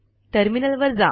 terminal वर जा